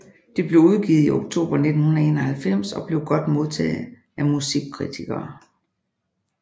Det blev udgivet i oktober 1991 og blev godt modtaget af musikkritikere